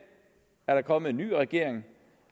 er der kommet en ny regering